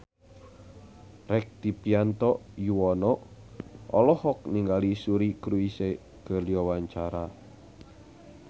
Rektivianto Yoewono olohok ningali Suri Cruise keur diwawancara